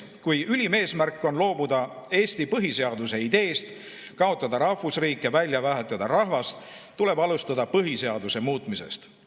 Kui ülim eesmärk on loobuda Eesti põhiseaduse ideest, kaotada rahvusriik ja välja vahetada rahvas, tuleb alustada põhiseaduse muutmisest.